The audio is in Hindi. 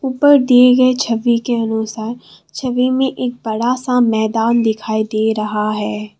ऊपर दिए गए छवि के अनुसार छवि में एक बड़ा सा मैदान दिखाई दे रहा है।